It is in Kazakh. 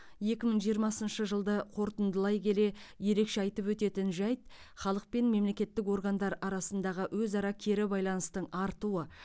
екі мың жиырмасыншы жылды қорытындылай келе ерекше айтып өтетін жайт халық пен мемлекеттік органдар арасындағы өзара кері байланыстың артуы